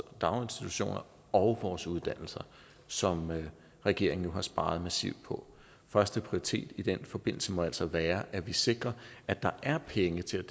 i daginstitutioner og vores uddannelser som regeringen jo har sparet massivt på førsteprioritet i den forbindelse må altså være at vi sikrer at der er penge til